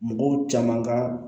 Mɔgɔw caman ka